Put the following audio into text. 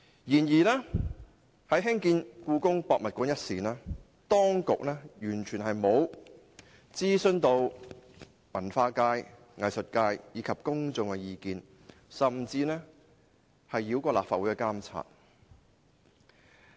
然而，在決定興建香港故宮文化博物館前，當局完全沒有諮詢文化界、藝術界及公眾的意見，甚至繞過立法會的監察。